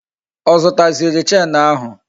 Ọ zụta ziri Chenu ahụ?